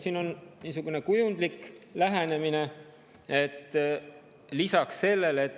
Siin on niisugune kujundlik lähenemine.